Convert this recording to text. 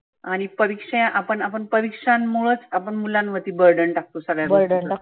आणि परिक्षा आपण आपण परिक्षांमुळच आपण मुलांमध्ये burden टाकतो सगळ्या गोष्टींच.